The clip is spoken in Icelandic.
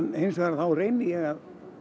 hins vegar þá reyni ég